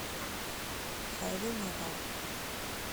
хэви метал